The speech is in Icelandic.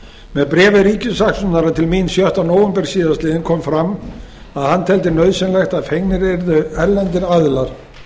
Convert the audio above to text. með bréfi ríkissaksóknara til mín dagsett sjötta nóvember síðastliðnum kom fram að hann teldi nauðsynlegt að fengnir yrðu erlendir aðilar